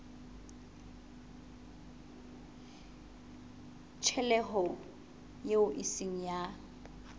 tjhelete eo e seng ya